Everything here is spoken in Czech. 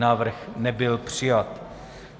Návrh nebyl přijat.